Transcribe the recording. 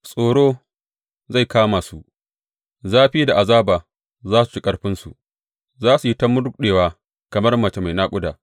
Tsoro zai kama su, zafi da azaba za su ci ƙarfinsu; za su yi ta murɗewa kamar mace mai naƙuda.